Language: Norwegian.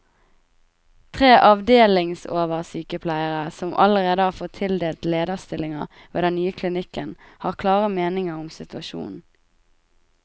Tre avdelingsoversykepleiere, som allerede har fått tildelt lederstillinger ved den nye klinikken, har klare meninger om situasjonen.